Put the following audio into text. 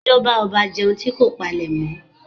Kíló bá ọba jẹun tí kò palèmọ́?